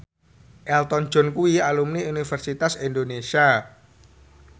Elton John kuwi alumni Universitas Indonesia